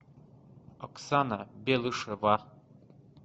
оксана белышева